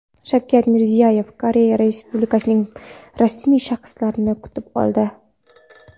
Shavkat Mirziyoyevni Koreya Respublikasining rasmiy shaxslari kutib oldi.